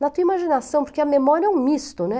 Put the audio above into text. na tua imaginação, porque a memória é um misto, né?